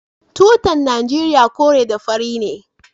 Tutar nigeria kore da fari ne